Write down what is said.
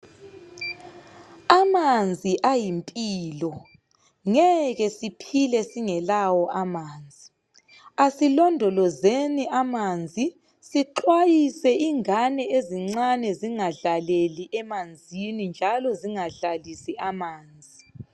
Amanzi ayimpilo. Ngeke siphile singelawo amanzi. Asilondolozeni amanzi sixwayise ingane ezincane zingadlaleli emanzini njalo zingadlalisi amanzi.